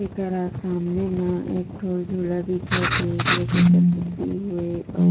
एकरा सामने माँ एक ठो झूला दिख थे जे के सन पटी हुए अउ